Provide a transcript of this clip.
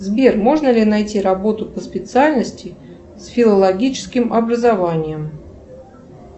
сбер можно ли найти работу по специальности с филологическим образованием